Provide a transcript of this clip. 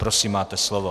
Prosím, máte slovo.